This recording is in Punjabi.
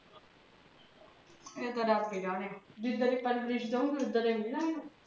ਇਹ ਤ ਰੱਬ ਹੀ ਜਣੇ ਜਿੱਦ ਦੀ ਪਰਵਰਿਸ਼ ਦਹੂੰਗੀ ਉਦਾਂ ਦਾ ਹੀ ਮਿੱਲਣਾ ਇਹਣੂ